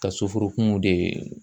Ka soforokun de